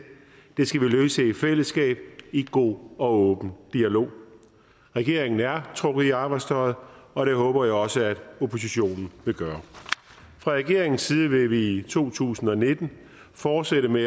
den skal vi løse i fællesskab i god og åben dialog regeringen er trukket i arbejdstøjet og det håber jeg også at oppositionen vil gøre fra regeringens side vil vi i to tusind og nitten fortsætte med